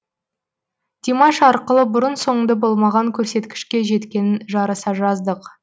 димаш арқылы бұрын соңды болмаған көрсеткішке жеткенін жарыса жаздық